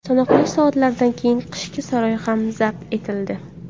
Sanoqli soatlardan keyin Qishki saroy ham zabt etildi.